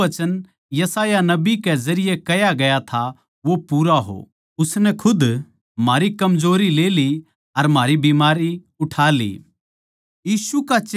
ताके जो वचन यशायाह नबी के जरिये कह्या गया था वो पूरा हो उसनै खुद म्हारी कमजोरी ले ली अर म्हारी बीमारी उठा ली